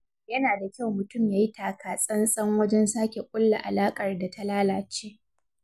Yana da kyau mutum yayi taka tsantsan wajen sake ƙulla alaƙar da ta lalace.